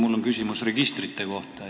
Mul on küsimus registrite kohta.